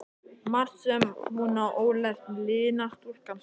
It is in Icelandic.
Margt sem hún á ólært um lygina, stúlkan sú.